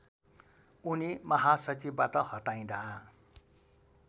उनी महासचिवबाट हटाइँदा